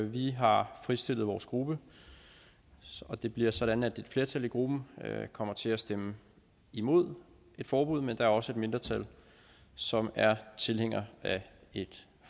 vi har fritstillet vores gruppe det bliver sådan at et flertal i gruppen kommer til at stemme imod et forbud men der er også et mindretal som er tilhænger af et